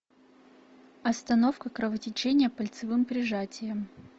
остановка кровотечения пальцевым прижатием